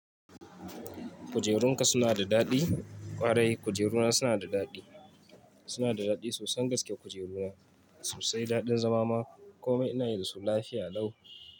Kujerunka suna da daɗi? Ƙwarai kujeruna suna da daɗi. Suna da daɗi sosan gaske kujeruna sosai daɗin zama ma komai ina yi da su lafiya nau.